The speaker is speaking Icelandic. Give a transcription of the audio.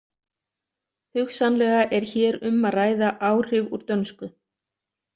Hugsanlega er hér um að ræða áhrif úr dönsku.